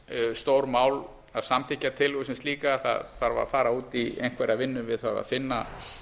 stórmál að samþykkja tillöguna sem slíka það þarf að fara út í einhverja vinnu við það að finna